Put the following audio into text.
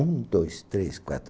Um, dois, três, quatro.